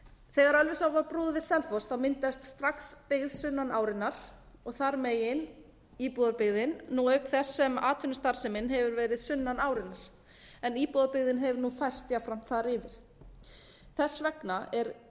þegar ölfusá var brúuð við selfoss myndaðist strax byggð sunnan árinnar og þar er meginíbúðarbyggðin auk þess sem atvinnustarfsemin hefur verið sunnan árinnar en íbúðarbyggðin hefur nú færst jafnframt þar yfir þess vegna er